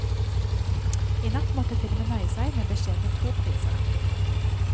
I natt måtte filmen nøye seg med beskjedne to priser.